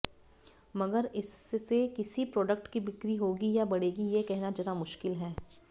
मगर इससे किसी प्रोडक्ट की बिक्री होगी या बढ़ेगी ये कहना ज़रा मुश्किल है